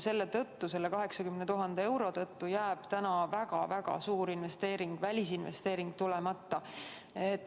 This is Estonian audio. Selle 80 000 euro tõttu jääb väga-väga suur välisinvesteering tulemata.